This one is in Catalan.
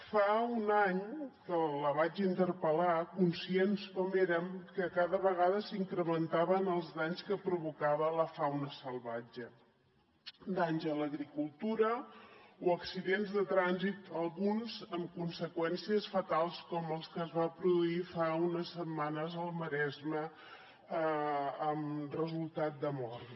fa un any que la vaig interpel·lar conscients com érem que cada vegada s’incrementaven els danys que provocava la fauna salvatge danys a l’agricultura o accidents de trànsit alguns amb conseqüències fatals com el que es va produir fa unes setmanes al maresme amb resultat de mort